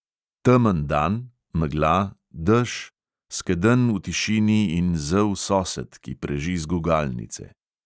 Temen dan, megla, dež, skedenj v tišini in zel sosed, ki preži z gugalnice.